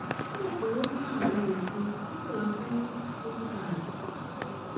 ó rò pé ó ní àrùn ìfun ó sì lọ sí dókítà rẹ